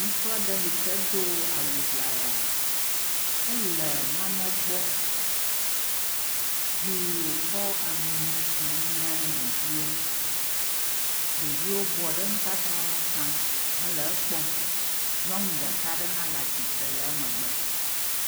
Ŋutsu aɖe hike do awuŋlaya ele nane gbɔ yi wokɔ amlima tsim ne ɖeviwo. Ɖeviwo bɔ ɖe eŋu tataŋ hele ekpɔm nyɔnu ɖeka aɖe hã le atsitre le emegbe.